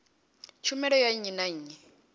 tshumelo ya nnyi na nnyi